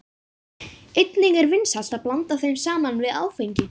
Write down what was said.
Einnig er vinsælt að blanda þeim saman við áfengi.